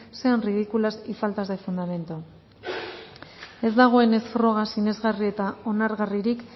sean ridículas y faltas de fundamento ez dagoenez froga sinesgarri eta onargarririk